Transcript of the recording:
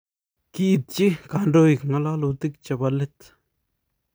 kiityi kandoik ng'ololutik chebo let